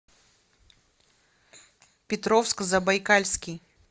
петровск забайкальский